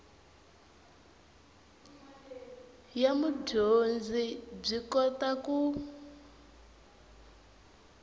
ya mudyondzi byi kota ku